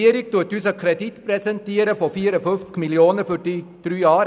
Die Regierung präsentiert uns einen Kreditantrag über 54 Mio. Franken für drei Jahre.